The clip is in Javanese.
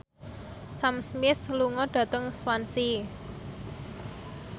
Sam Smith lunga dhateng Swansea